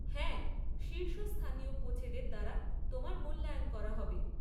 হ্যাঁ, শীর্ষ স্থানীয় কোচেদের দ্বারা তোমার মূল্যায়ন করা হবে।